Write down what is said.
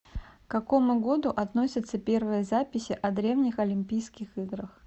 к какому году относятся первые записи о древних олимпийских играх